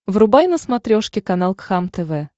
врубай на смотрешке канал кхлм тв